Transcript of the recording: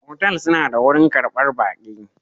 Otal suna da wurin karbar baki